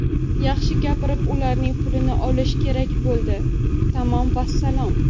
Yaxshi gapirib, ularning pulini olish kerak, bo‘ldi, tamom vassalom!